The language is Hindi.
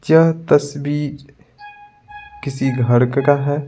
यह तस्वीर किसी घर का है।